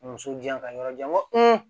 Muso jan ka yɔrɔ jan n ko